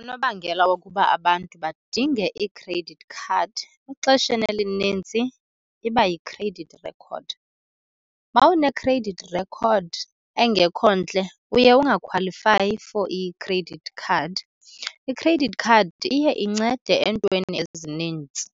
Unobangela wokuba abantu badinge ii-credit card exesheni elinintsi iba yi-credit record. Uma une-credit record engekho ntle uye ungakhwalifayi for i-credit card. I-credit card iye incede eentweni ezinintsi.